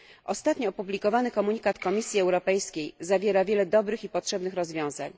Ostatni opublikowany komunikat Komisji Europejskiej zawiera wiele dobrych i potrzebnych rozwiązań.